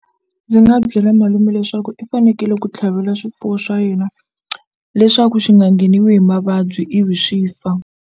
Ndzi nga byela malume leswaku i fanekele ku tlhavela swifuwo swa yena leswaku swi nga ngheniwi hi mavabyi ivi swi fa.